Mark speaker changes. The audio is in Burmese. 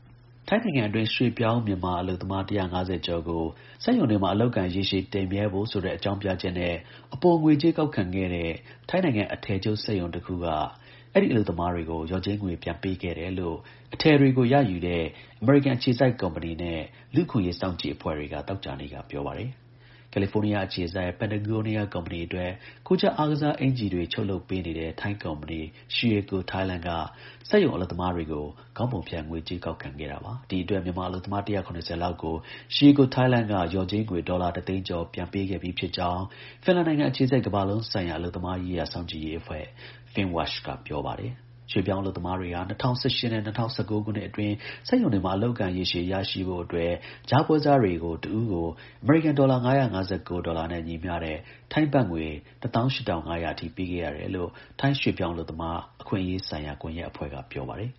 Speaker 1: ထိုင်းနိုင်ငံတွင်း ရွှေ့ပြောင်းမြန်မာအလုပ်သမား ၁၅၀ ကျော်ကို စက်ရုံတွေမှာ အလုပ်အကိုင် ရေရှည်တည်မြဲဖို့ဆိုတဲ့ အကြောင်းပြချက်နဲ့ အပိုငွေကြေးကောက်ခံခဲ့တဲ့ ထိုင်းနိုင်ငံ အထည်ချုပ်စက်ရုံတခုက လျော်ကြေးပြန်ပေးခဲ့တယ်လို့ အထည်တွေကို ရယူတဲ့ အမေရိကန်အခြေစိုက် ကုမ္ပဏီ တာဝန်ရှိသူတွေနဲ့ လူ့အခွင့်အရေးစောင့်ကြည့်အဖွဲ့တွေက သောကြာနေ့ကပြောပါတယ်။ ကယ်လီဖိုးနီးယား အခြေစိုက် Patagonia ကုမ္မဏီအတွက် ကိုယ်ကျပ် အင်္ကျီတွေ ချုပ်လုပ်ပေးနေတဲ့ ထိုင်းနိုင်ငံ Sheico Thailand က စက်ရုံအလုပ်သမားတွေကို ကြားကတဆင့် ခေါင်းပုံဖြတ် ငွေကြေးကောက်ခံခဲ့တာပါ။ ဒီအတွက်မြန်မာအလုပ်သမား ၁၇၀ လောက် ကို Sheico Thailand က ဒေါ်လာ ၁ သိန်းကျော် ပြန်ပေးခဲ့ပြီဖြစ်ကြောင်း ဖင်လန်နိုင်ငံအခြေစိုက် ကမ္ဘာလုံးဆိုင်ရာအလုပ်သမား အရေး စောင့်ကြည့်ရေး အဖွဲ့ Finnwatch က ပြောပါတယ်။ ရွှေ့ပြောင်းအလုပ်သမားတွေဟာ ၂၀၁၈ နဲ့ ၂၀၁၉ ခုနှစ်အတွင်း စက်ရုံတွေမှာ အလုပ်အကိုင် ရေရှည်ရဖို့ အတွက် ကြားပွဲစားတွေကို တဦးကို အမေရိကန်ဒေါ်လာ ၅၅၉ ဒေါ်လာနဲ့ ညီမျှတဲ့ ထိုင်းဘတ်ငွေ ၁၈,၅၀၀ အထိပေးခဲ့ရတယ်လို့ ထိုင်း ရွှေ့ပြောင်းအလုပ်သမား အခွင့် အရေးဆိုင်ရာ Migrant Workers Rights Network က ပြောပါတယ်